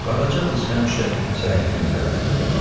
Qaraca qız həmişə zəifin tərəfini tutardı.